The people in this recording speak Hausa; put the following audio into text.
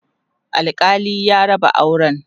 alkali ya raba auran